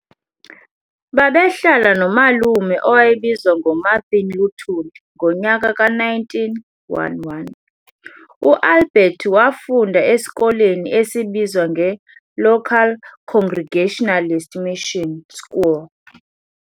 Babehlala no malume owayebizwa ngo Marthin Luthuli ngonyaka ka-1911. u-Albert wafunda esikoleni esibizwa nge-Local Congregationalist Mission School.